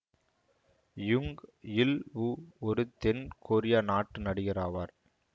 யுங் Ilwoo ஒரு தென் Korea நாட்டு நடிகர் ஆவார்